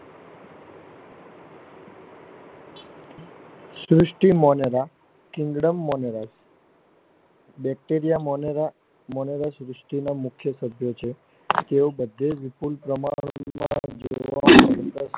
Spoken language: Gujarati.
સૃષ્ટિ માનવા Kinderan માંનોવા BacteriaMonoreMonore સૃષ્ટિ ના મુખ્ય તત્વો છે તે બધે જ વિપુલ પ્રમાણમા માં જોવા મળે છે.